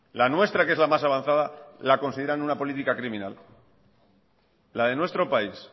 la nuestra que es la más avanzada la consideran una política criminal la de nuestro país